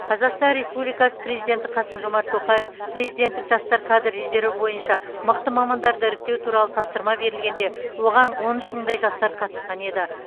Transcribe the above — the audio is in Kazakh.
қазақстан республикасы президенті қасым жомарт тоқаев президенттік жастар кадр резерві бойынша мықты мамандарды іріктеу туралы тапсырма берілгенде оған он үш мыңдай жастар қатысқан еді